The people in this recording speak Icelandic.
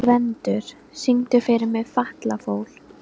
Gvendur, syngdu fyrir mig „Fatlafól“.